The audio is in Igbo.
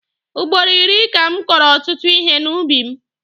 Ugboro iri ka m kọrọ ọtụtụ ihe n'ubi m.